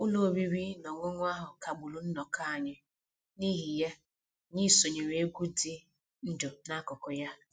Ụlọ oriri na ọṅụṅụ ahụ kagburu nnọkọ anyị, n'ihi ya, anyị sonyeere egwu dị ndụ n'akụkụ ya